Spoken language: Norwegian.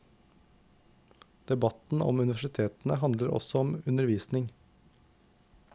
Debatten om universitetene handler også om undervisning.